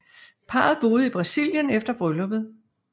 Parret boede i Brasilien efter brylluppet